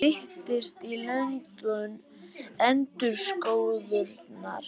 Styttist í löndun endurskoðunar